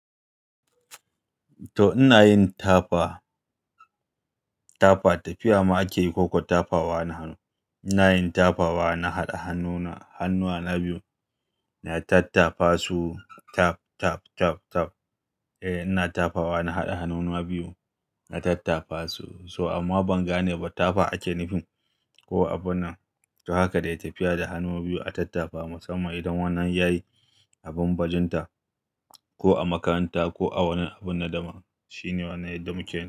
To ina yin tafa, tafa tafiya ma ake yi ko kuwa tafawa na hannu. Ina yin tafawa, na haɗa hannu hannuwa na biyu na tattafa su tap tap tap tap. Eh ina tafawa na haɗa hannuna biyu na tattafa su so amma ban gane ba tafa ake nufi ko abun nan. To haka dai tafiya da hannu biyu a tattafa musamman idan wannan yayi abin bajinta ko a makaranta ko a wani abun nadama shine wani yanayi da muke ciki.